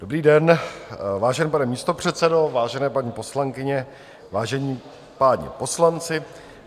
Dobrý den, vážený pane místopředsedo, vážené paní poslankyně, vážení páni poslanci.